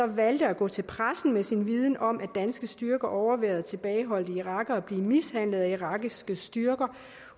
valgte at gå til pressen med sin viden om at danske styrker overværede tilbageholdte irakere blive mishandlet af irakiske styrker